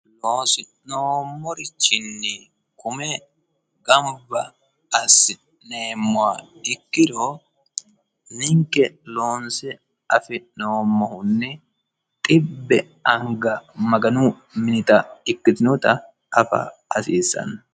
Loosi'noomorichinni kume gamubba assineemmowa ikkiro ninke loonse afi'noommohunni xibbe anga maganu minita ikkitinota afa hasiissanno